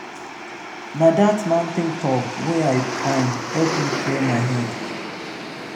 na dat mountain top wey i climb help me clear my head.